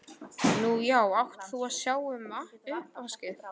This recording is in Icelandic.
Nú já, átt þú að sjá um uppvaskið?